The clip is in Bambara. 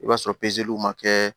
I b'a sɔrɔ w ma kɛ